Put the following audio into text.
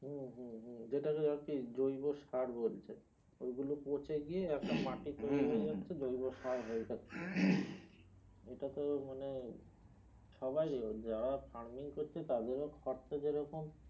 হম হম যেটা কে আর কি জৈব সার বলচ্ছে ঐ গুলো পচে গিয়ে একটা মাটি হয়ে যাচ্ছে জৈব সার হয়ে যাচ্ছে এটা তো মানে সবাইরি ও যারা farming করছে তাদেরও খরচা যে রকম